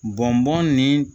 Bɔnbɔn nin